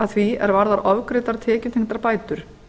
að því er varðar ofgreiddar tekjutengdar bætur